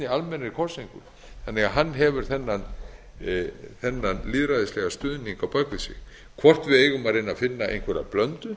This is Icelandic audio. almennri kosningu þannig að hann hefur þennan lýðræðislega stuðning á bak við sig hvort við eigum að reyna að finna einhverja blöndu